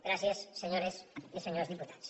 gràcies senyores i senyors diputats